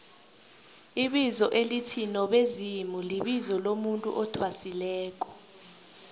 ibizo elithi nobezimulibizo lomuntu athwasileko